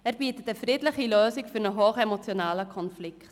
Er bietet eine friedliche Lösung für einen hochemotionalen Konflikt.